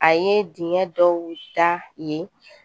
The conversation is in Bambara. A ye dingɛ dɔw da yen